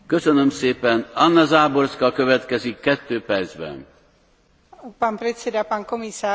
Ďakujem pani spravodajkyni za prácu, ale som v rozpakoch, keď čítam bod 30 predloženej správy.